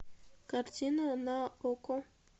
картина на окко